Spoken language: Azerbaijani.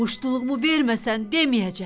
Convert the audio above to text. Muştuluğumu verməsən deməyəcəm.